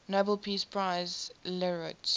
nobel peace prize laureates